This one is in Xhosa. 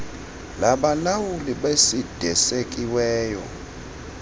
labalawuli becid esekiweyo